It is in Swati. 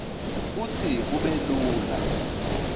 kutsi kube lula